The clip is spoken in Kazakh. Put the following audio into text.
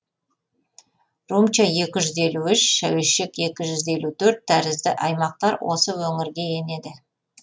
румча екі жүз елу үш шәуешек екі жүз елу төрт тәрізді аймақтар осы өңірге енеді